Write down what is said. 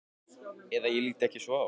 Eða ég lít ekki svo á.